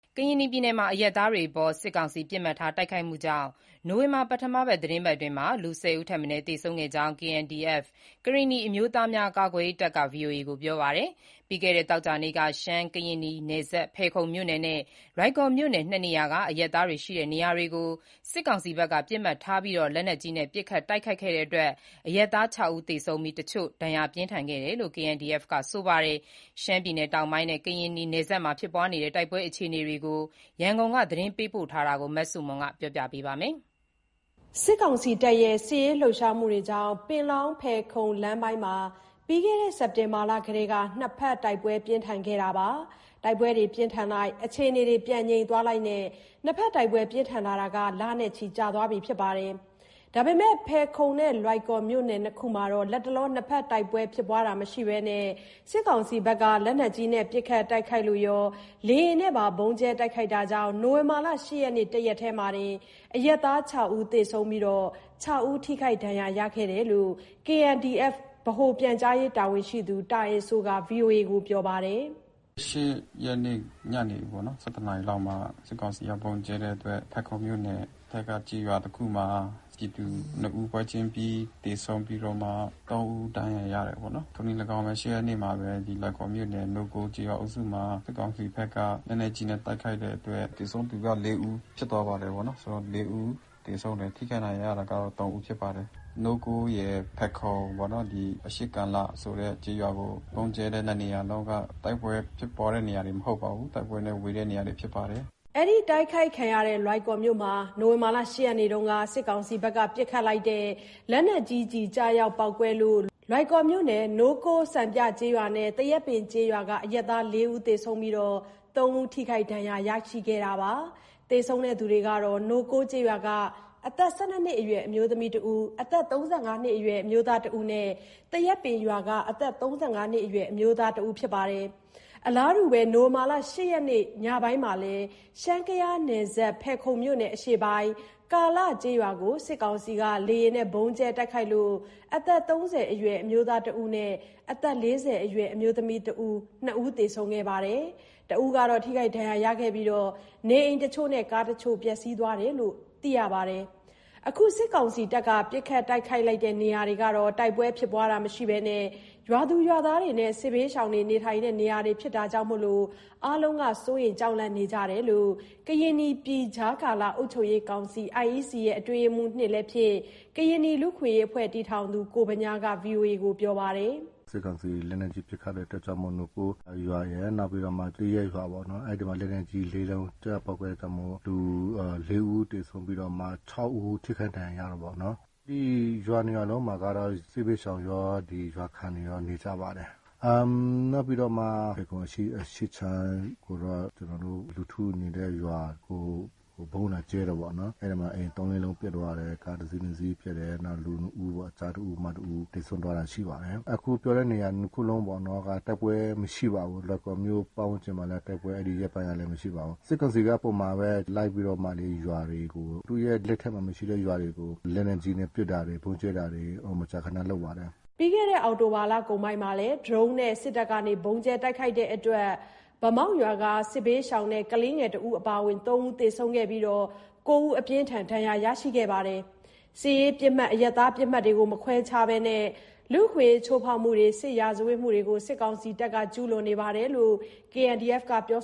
ကရင်နီပြည်နယ်မှာ အရပ်သားတွေအပေါ် စစ်ကောင်စီက ပစ်မှတ်ထားတိုက်ခိုက်မှုကြောင့် နို၀င်ဘာလ ပထမသီတင်းပတ်အတွင်း ၁၀ ဦးထက်မနည်းသေဆုံးခဲ့ကြောင်း KNDF ကရင်နီအမျိုးသားများ ကာကွယ်ရေးတပ်က ဗွီအိုအေကိုပြောပါတယ်။ ပြီးခဲ့တဲ့သောကြာနေ့က ရှမ်း-ကရင်နီနယ်စပ် ဖယ်ခုံမြို့နယ်နဲ့ လွိုင်ကော်မြို့နယ် နှစ်နေရာကအရပ်သားတွေရှိတဲ့နေရာကို စစ်ကောင်စီဘက်က ပစ်မှတ်ထားပြီး လက်နက်ကြီးနဲ့ ပစ်ခတ်တိုက်ခိုက်လို့ အရပ်သား (၆) ဦးသေဆုံးခဲ့ပြီး တချို့ ပြင်းထန်ဒဏ်ရာရခဲ့တယ်လို့ KNDF က ဆိုပါတယ်။ ရှမ်းပြည်နယ်တောင်ပိုင်းနဲ့ ကရင်နီနယ်စပ်မှာ ဖြစ်ပွားနေတဲ့ တိုက်ပွဲအခြေအနေ ရန်ကုန်က သတင်းပေးပို့ထားတာကို မဆုမွန်က တင်ပြပေးထားပါတယ်။ စစ်ကောင်စီတပ်ရဲ့ စစ်ရေးလှုပ်ရှားမှုကြောင့် ပင်လောင်း-ဖယ်ခုံလမ်းပိုင်းမှာတော့ ပြီးခဲ့တဲ့ စက်တင်ဘာ လကတည်းကနှစ်ဘက်တိုက်ပွဲပြင်းထန်လိုက် အခြေအနေပြန်ငြိမ်သွားလိုက်နဲ့ တိုက်ပွဲပြင်းထန်လာတာ လနဲ့ချီကြာသွားပါပြီ။ ဒါပေမဲ့ဖယ်ခုံနဲ့ လွိုင်ကော်မြို့နယ်နှစ်ခုမှာတော့ လတ်တလော တိုက်ပွဲမရှိဘဲ စစ်ကောင်စီတပ်က လက်နက်ကြီးနဲ့ပစ်ခတ်တိုက်ခိုက်လို့ရော လေယာဉ်နဲ့ပါ ဗုံးကြဲတိုက်ခိုက်မှုကြောင့် နိုဝင်ဘာလ ၈ ရက် တရက်တည်းမှာတင် အရပ်သား ၆ ဦးသေဆုံးပြီး ၆ ဦးထိခိုက်ဒဏ်ရာရရှိခဲ့တယ်လို့ KNDF ဗဟိုပြန်ကြားရေးတာဝန်ရှိသူ တာအယ်စိုးက ပြောပါတယ်။ “ ၈ ရက်နေ့ ညနေပေါ့နော် ၁၁ နာရီလောက်မှာ စစ်ကောင်စီက ဗုံးကြဲတဲ့အတွက် ဖယ်ခုံမြို့နယ်ဘက်က ကျေးရွာတခုမှာပြည်သူနှစ်ဦး ပွဲချင်းပြီးသေဆုံးပြီးတော့မှ သုံးဦး ဒဏ်ရာရရှိတယ်ပေါ့နော်။ ထိုနည်း လည်းကောင်းပဲ ၈ ရက်နေ့မှာလည်း လွိုင်ကော်မြို့နယ် နိုးကိုးကျေးရွာအုပ်စုမှာ စစ်ကောင်စီဘက်က လက်နက်ကြီးနဲ့ တိုက်ခိုက်တဲ့အတွက် သေဆုံးသူက ၄ ဦးဖြစ်သွားပါတယ်ပေါ့နော်၊ ဆိုတော့ ၄ ဦး သေဆုံးတယ်။ ထိခိုက်ဒဏ်ရာရတာက ၃ ဦးဖြစ်ပါတယ်။ နိုးကိုးရယ်၊ ဖယ်ခုံပေါ့နော်။ အရှေ့ ကာလဆိုတဲ့ကျေးရွာကို ဗုံးကြဲတဲ့နှစ်နေရာလုံးက တိုက်ပွဲဖြစ်တဲ့နေရာတွေ မဟုတ်ပါဘူး၊တိုက်ပွဲနဲ့ ဝေးတဲ့နေရာတွေဖြစ်ပါတယ်။” သေဆုံးသူတွေဟာ နိုးကိုးကျေးရွာက အသက် ၁၂ နှစ်အရွယ်မိန်းကလေးတဦး၊ အသက် ၂၀ ကျော်အရွယ်အမျိုးသမီးတဦး၊ အသက် ၃၅ နှစ်အရွယ် အမျိုးသားတဦးနဲ့ သရက်ပင်ကျေးရွာက အသက် ၃၅ နှစ် အရွယ်အမျိုးသားတဦးတို့ ဖြစ်ကြတယ်လို့ သိရပါတယ်။ အလားတူ နိုဝင်ဘာ ၈ ရက် ညပိုင်းမှာလည်း ရှမ်း-ကယားနယ်စပ် ဖယ်ခုံမြို့နယ် အရှေ့ပိုင်း ကာလကျေးရွာကို စစ်ကောင်စီက လေယာဉ်ဗုံးကြဲမှုကြောင့် အသက် ၃၀ အရွယ်အမျိုးသားတဦးနဲ့ အသက် ၄၀ အရွယ်အမျိုးသမီးတဦးသေဆုံးပြီး ထိခိုက်ဒဏ်ရာရသူတဦးရှိခဲ့သလို နေအိမ်တချို့နဲ့ ကားတချို့ ပျက်စီးသွားတယ်လို့ သိရပါတယ်။ အခု စစ်ကောင်စီတပ်က ပစ်ခတ်တိုက်ခိုက်လိုက်တဲ့နေရာတွေဟာ တိုက်ပွဲမရှိဘဲ ရွာသူရွာသားနဲ့ စစ်ဘေးရှောင်တွေနေထိုင်တဲ့ နေရာတွေဖြစ်တာမို့ အားလုံးက စိုးရိမ်ကြောက်လန့်နေကြတယ်လို့ ကရင်နီပြည်ကြားကာလ အုပ်ချုပ်ရေးကောင်စီ (IEC) အတွင်းရေးမှူး (၂) လည်းဖြစ်၊ ကရင်နီ လူ့အခွင့်အရေးတည်ထောင်သူလည်းဖြစ်တဲ့ ကိုဗညားက ပြောပါတယ်။ “စစ်ကောင်စီ လက်နက်ကြီးပစ်ခတ်လိုက်တဲ့အတွက်ကြောင့်မို့ နိုးကိုးရွာရယ်၊ နောက်ပြီးတော့ သရက်ရွာပေါ့နော်၊ အဲ့ဒီမှာ လက်နက်ကြီးလေးလုံး ကျရောက်ပေါက်ကွဲအတွက်ကြောင့်မို့ လူ လေးဦး သေဆုံးပြီးတော့မှ ၆ ဦးထိခိုက်ဒဏ်ရာရတယ်ပေါ့နော်။ ဒီရွာနှစ်ရွာလုံးက စစ်ဘေးရှောင်ရော ရွာခံတွေရော နေကြပါတယ်။ နောက်ပြီးတော့မှ ဖယ်ခုံအရှေ့ခြမ်းကိုတော့ ကျနော်တို့ လူထုနေတဲ့ရွာကို ဗုံးလာကြဲတာပေါ့နော်။ အဲ့ဒီမှာ အိမ် ၃၊ ၄ လုံးပျက်စီးသွားတယ်။ ကားတစီး၊ နှစ်စီးပျက်တယ်။ နောက် လူနှစ်ဦးပေါ့။ ကျားတဦး၊ မတဦးသေဆုံးသွားတာရှိပါတယ်။ အခုပြောတဲ့နေရာ နှစ်ခုလုံးပေါ့နော်တိုက်ပွဲမရှိပါဘူး။ လွိုင်ကော်မြို့ပတ်ဝန်းကျင်မှာလည်း တိုက်ပွဲ။ အဲ့ဒီရက်ပိုင်းလည်း မရှိပါဘူး။ စစ်ကောင်စီက ပုံမှန်ပဲလိုက်ပြီးတော့မှ ရွာတွေကို သူ့ရဲ့ လက်ထဲမှာမရှိတဲ့ ရွာတွေကို လက်နက်ကြီး ပစ်တာတွေ ဗုံးကြဲတာတွေ မကြာခဏလုပ်ပါတယ်။” ပြီးခဲ့တဲ့ အောက်တိုဘာ လကုန်ပိုင်းမှာလည်း ဒရုန်းနဲ့ စစ်တပ်ဗုံးကြဲလို့ ဗန်းမောက် စစ်ဘေးရှောင်တဲ့ ကလေးငယ်တဦးအပါအဝင်သုံးဦးသေဆုံးခဲ့ပြီး ၉ ဦးက ပြင်းထန်ဒဏ်ရာရရှိခဲ့ပါတယ်။ စစ်ရေးပစ်မှတ် အရပ်သားပစ်မှတ်မခွဲခြားဘဲ လူ့အခွင့်အရေးချိုးဖောက်မှုတွေ စစ်ရာဇဝတ်မှုတွေ စစ်ကောင်စီတပ်က ဆက်လက်ကျူးလွန်နေတယ်လို့ KNDF က ပြော